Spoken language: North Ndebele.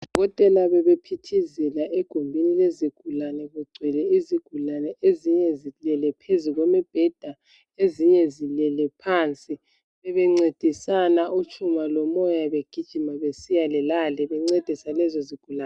Odokotela bebephithizela egumeni lezigulane kugcwele izigulane ezinye zilele phezu kwemibheda ezinye zilele phansi bebencedisana uTshuma loMoyo begijima besiyale lale bencedisa lezi zigulane.